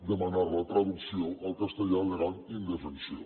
demanar la traducció al castellà al·legant indefensió